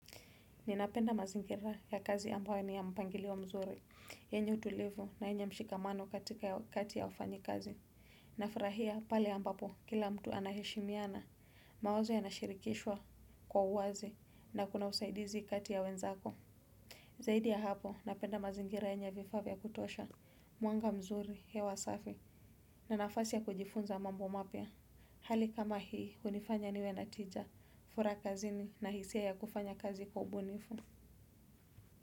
Ninapenda mazingira ya kazi ambayo ni ya mpangilio mzuri, yenye utulivu na yenye mshikamano katikati ya wafanyikazi. Nafurahia pale ambapo kila mtu anaheshimiana, mawazo yanashirikishwa kwa uwazi na kuna usaidizi kati ya wenzako. Zaidi ya hapo, napenda mazingira yenye vifaa vya kutosha mwanga mzuri hewa safi na nafasi ya kujifunza mambo mapya. Hali kama hii hunifanya niwe na tija, furaha kazini na hisia ya kufanya kazi kwa ubunifu.